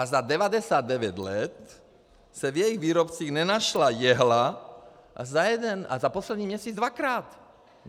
A za 99 let se v jejich výrobcích nenašla jehla a za poslední měsíc dvakrát.